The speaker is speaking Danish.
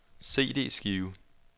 CD-skive